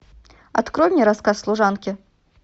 открой мне рассказ служанки